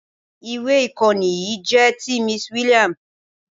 Ìwé ìkọ́ni yìí jẹ́ ti Miss William.